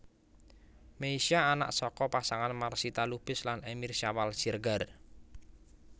Meisya anak saka pasangan Marsitha Lubis lan Emir Syawal Siregar